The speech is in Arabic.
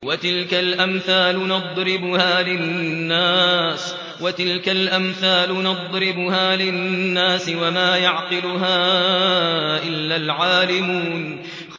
وَتِلْكَ الْأَمْثَالُ نَضْرِبُهَا لِلنَّاسِ ۖ وَمَا يَعْقِلُهَا إِلَّا الْعَالِمُونَ